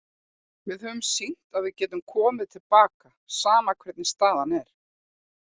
Við höfum sýnt að við getum komið til baka, sama hvernig staðan er.